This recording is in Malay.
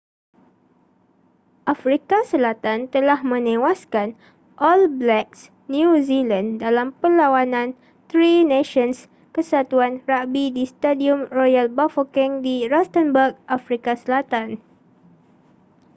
afrika selatan telah menewaskan all blacks new zealand dalam perlawanan tri nations kesatuan ragbi di stadium royal bafokeng di rustenburg afrika selatan